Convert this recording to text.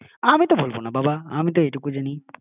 আমি তো ভুলবো না বাবা আমি তো এই টুকু জানি